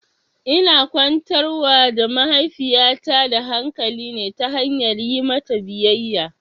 Ina kwantar wa da mahaifiyata da hakali ne ta hanyar yi mata biyayya